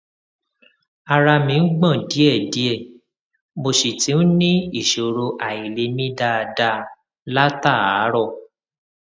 ara mi ń gbọn díẹdíẹ mo sì ti ń ní ìṣòro àìlè mí dáadáa látàárọ